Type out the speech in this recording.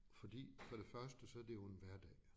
Fordi for det første så det jo en hverdag